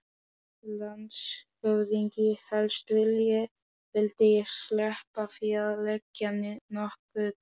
LANDSHÖFÐINGI: Helst vildi ég sleppa því að leggja nokkuð til.